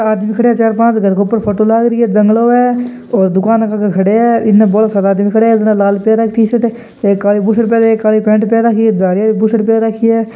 आदमी खड़े है चार पाँच घर के ऊपर फोटो लागरी है जंगलों है और दुकान के आगे खड़ा है इन बोला सारा आदमी खड़ा है एक न लाल पहन राखी है टी-शर्ट एक काली बुर्सट --